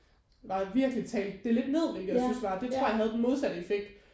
Var virkelig talte det lidt ned hvilket jeg synes var det tror jeg havde den modsatte effekt